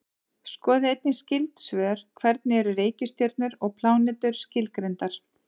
Skoðið einnig skyld svör: Hvernig eru reikistjörnur og plánetur skilgreindar?